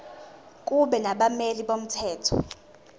kube nabameli bomthetho